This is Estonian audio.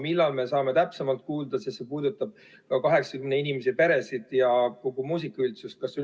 Millal me saame täpsemalt kuulda, sest see puudutab ka 80 inimese peresid ja kogu muusikaüldsust?